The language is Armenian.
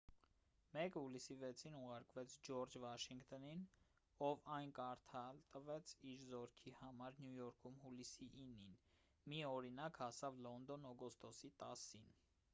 մեկը հուլիսի 6-ին ուղարկվեց ջորջ վաշինգտոնին ով այն կարդալ տվեց իր զորքի համար նյու յորքում հուլիսի 9-ին մի օրինակ հասավ լոնդոն օգոստոսի 10-ին